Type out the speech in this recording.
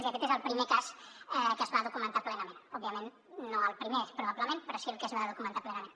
i aquest és el primer cas que es va documentar plenament òbviament no el primer probablement però sí el que es va documentar plenament